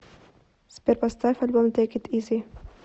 сбер поставь альбом тэйк ит изи